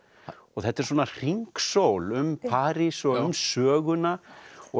þetta er svona hringsól um París og um söguna og